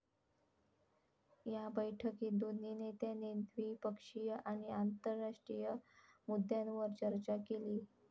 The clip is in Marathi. या बैठकीत दोन्ही नेत्यांनी द्विपक्षीय आणि आंतरराष्ट्रीय मुद्द्यांवर चर्चा केली.